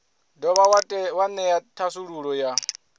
dovha wa ṅea thasululo ya